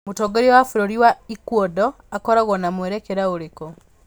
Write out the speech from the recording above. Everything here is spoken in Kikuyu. Mũtongoria wa bũrũri wa Ecuador akoragwo na mwerekera ũrĩkũ?